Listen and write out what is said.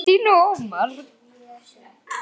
Kristín og Ómar.